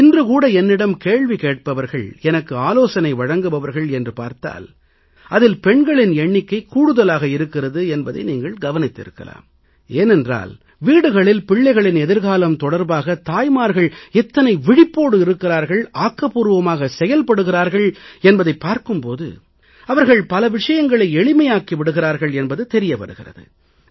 இன்று கூட என்னிடம் கேள்வி கேட்பவர்கள் எனக்கு ஆலோசனை வழங்குபவர்கள் என்று பார்த்தால் அதில் பெண்களின் எண்ணிக்கை கூடுதலாக இருக்கிறது என்பதை நீங்கள் கவனித்திருக்கலாம் ஏனென்றால் வீடுகளில் பிள்ளைகளின் எதிர்காலம் தொடர்பாக தாய்மார்கள் எத்தனை விழிப்போடு இருக்கிறார்கள் ஆக்கபூர்வமாக செயல்படுகிறார்கள் என்பதைப் பார்க்கும் போது அவர்கள் பல விஷயங்களை எளிமையாக்கி விடுகிறார்கள் என்பது தெரிய வருகிறது